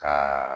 Ka